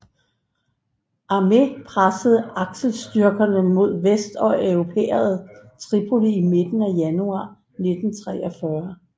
Armé pressede aksestyrkerne mod vest og erobrede Tripoli i midten af januar 1943